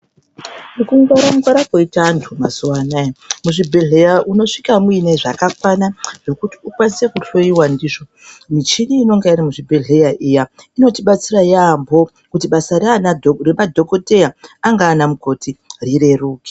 Nekungwara-ngwara kwoite vantu mazuvanaya, muzvibhedhlera unosvika muine zvakakwana, zvokuti ukwanise kuhloyiwa ndizvo. Michini inenge iri muzvibhedhlera iya inotibatsira yaamho kuti basa raanadhogodheya, angaa anamukoti rireruke.